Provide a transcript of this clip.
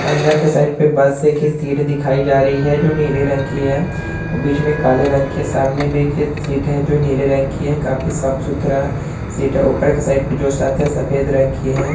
अंदर के साइड पे बसे की सीट दिखाई जा रही है जो नीले रंग की है औ बीच में काले रंग के सामने भी एखे सीट है जो नील रंग की है। काफी साफ सुथरा सीट है। ऊपर के साइड पे जो सत है सफ़ेद रंग की है।